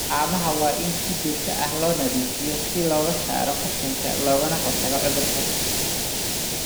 Haamaha waa in si joogto ah loo nadiifiyaa si looga saaro qashinka loogana hortago cudurada.